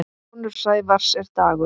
Sonur Sævars er Dagur.